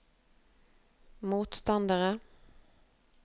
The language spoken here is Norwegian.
motstandere